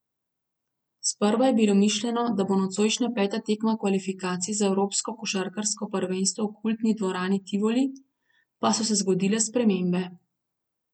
Sprva je bilo mišljeno, da bo nocojšnja peta tekma kvalifikacij za evropsko košarkarsko prvenstvo v kultni dvorani Tivoli, pa so se zgodile spremembe.